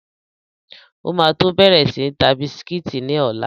O ma tó bẹ̀rẹ̀ sí ń ta bisikítì ní ọ̀la.